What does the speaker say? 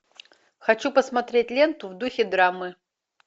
хочу посмотреть ленту в духе драмы